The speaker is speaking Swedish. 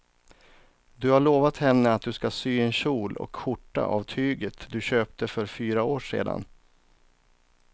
Du har lovat henne att du ska sy en kjol och skjorta av tyget du köpte för fyra år sedan.